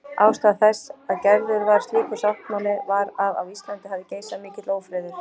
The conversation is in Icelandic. Ástæða þess að gerður var slíkur sáttmáli var að á Íslandi hafði geisað mikill ófriður.